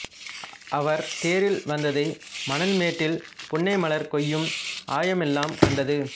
அவர் தேரில் வந்ததை மணல்மேட்டில் புன்னைமலர் கொய்யும் ஆயமெல்லாம் கண்டது